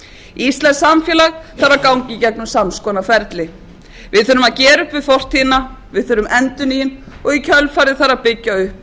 íslenskt samfélag þarf að ganga í gegnum sams konar ferli við þurfum að gera upp við fortíðina við þurfum endurnýjun og í kjölfarið þarf að byggja upp